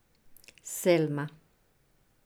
Selma.